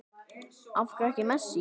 Af hverju ekki Messi?